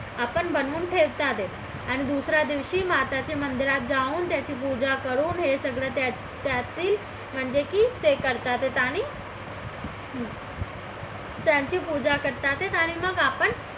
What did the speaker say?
आपण बनवून ठेवतात आहे आणि दुसऱ्या दिवशी माता च्या मंदिरात त्याची पूजा करून हे सगळं त्यातील म्हणजे की हे करतात आणि त्यांची पूजा करतात ते आणि मग आपण